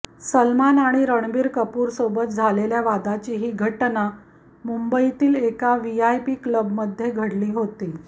सलमान आणि रणबीर कपूरसोबत झालेल्या वादाची ही घटना मुंबईतील एका वीआयपी क्लबमध्ये घडली होती